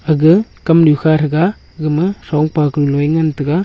aga kamnu kha thaga gama thongpa kanu ye ngantaga.